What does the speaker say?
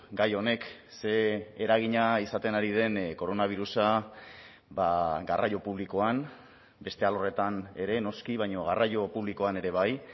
gai honek ze eragina izaten ari den koronabirusa garraio publikoan beste alorretan ere noski baino garraio publikoan ere bai